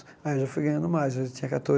Aí eu já fui ganhando mais, eu já tinha